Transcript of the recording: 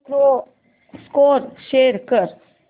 score show कर